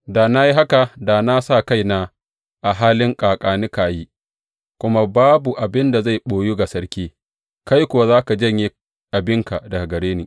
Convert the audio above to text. Da na yi haka da na sa kaina a halin ƙaƙa ni ka yi, kuma babu abin da zai ɓoyu ga sarki, kai kuwa za ka janye abinka daga gare ni.